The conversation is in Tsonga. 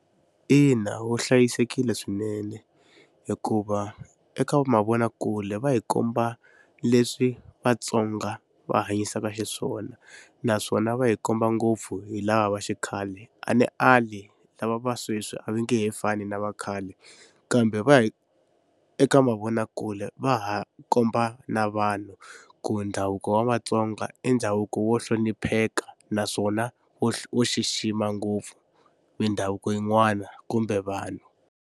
Ina wu hlayisekile swinene hikuva eka mavonakule va hi komba leswi Vatsonga va hanyisaka xiswona naswona va hi komba ngopfu hi lava va xikhale a ni ali lava va sweswi a va nge he fani na vakhale kambe va eka mavonakule va ha komba na vanhu ku ndhavuko wa Vatsonga i ndhavuko wo hlonipheka naswona wo wo xixima ngopfu mindhavuko yin'wana kumbe vanhu.